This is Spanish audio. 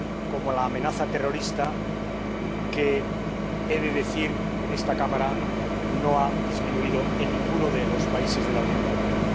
como la amenaza terrorista, que, he de decir en esta Cámara, no ha disminuido en ninguno de los países de la Unión Europea.